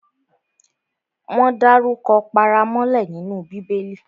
Wọ́n dárukọ paramọ́lẹ nínú Bíbẹlì